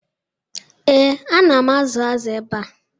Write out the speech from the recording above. Ee, ana m azụ azụ ebe a.